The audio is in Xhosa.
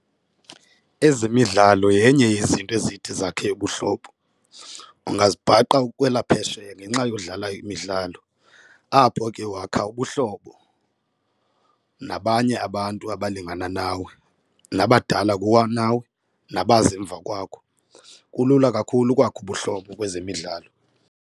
Ezemidlalo yenye yezinto ezithi zakhe ubuhlobo. Ungazibhaqa ukwelaphesheya ngenxa yokudlala imidlalo, apho ke wakha ubuhlobo nabanye abantu abalingana nawe nabadala kunawe nabaza emva kwakho, kulula kakhulu ukwakha ubuhlobo kwezemidlalo.